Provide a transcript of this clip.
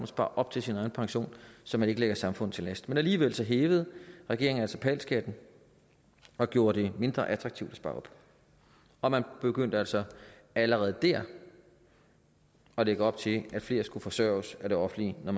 sparer op til sin egen pension så man ikke ligger samfundet til last men alligevel hævede regeringen altså pal skatten og gjorde det mindre attraktivt at spare op og man begyndte altså allerede dér at lægge op til at flere skulle forsørges af det offentlige når